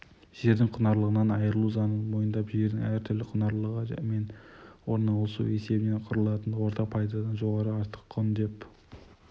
жердің құнарлылығынан айырылу заңын мойындап жердің әр түрлі құнарлылығы мен орналасу есебінен құралатын орта пайдадан жоғары артық құн деп